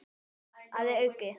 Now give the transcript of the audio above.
Að auki